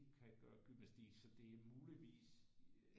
Kan gøre gymnastik så det er muligvis